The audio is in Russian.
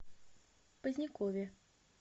позднякове